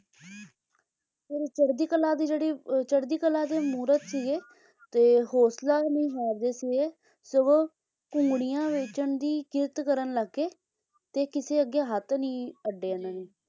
ਫੇਰ ਚੜ੍ਹਦੀ ਕਲਾ ਦੀ ਜਿਹੜੀ ਅਹ ਚੜ੍ਹਦੀ ਕਲਾ ਦੀ ਮੂਰਤ ਸੀਗੇ ਤੇ ਹੌਂਸਲਾ ਨੀ ਹਾਰਦੇ ਸੀਗੇ ਸਗੋਂ ਘੂੰਗਣੀਆਂ ਵੇਚਣ ਦੀ ਕਿਰਤ ਕਰਨ ਲੱਗ ਗਏ ਤੇ ਕਿਸੇ ਅੱਗੇ ਹੱਥ ਨਹੀਂ ਅੱਡੇ ਇਹਨਾਂ ਨੇ ਹਾਂਜੀ